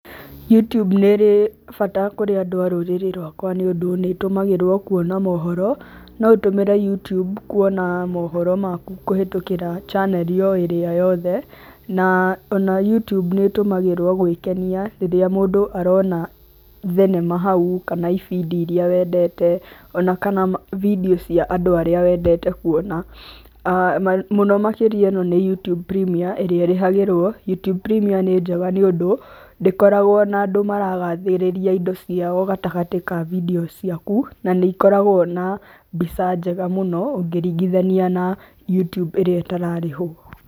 Youtube nĩ ĩrĩ bata kũrĩ andũ a rũrĩrĩ rwakwa nĩ ũndũ nĩ ĩtũmagĩrwo kuona mohoro. No ũtũmĩre Youtube kuona mohoro maku kũhĩtũkĩra channel oĩrĩa yothe na ona Youtube nĩ ĩtũmagĩrwo gwĩkenia rĩrĩa mũndũ arona thenema hau kana ibindi irĩa wendete ona kana video cia andũ arĩa wendete kuona. Mũno makĩria ino nĩY outube Premium ĩrĩa ĩrĩhagĩrwo. Youtube Premium nĩ njega tondũ ndĩkoragwo na andũ maragathĩrĩria indo ciao gatagatĩ ka video ciaku na nĩ ĩkoragwo na mbica njega mũno ngĩringithania na [Youtube ĩrĩa ĩtararĩhwo.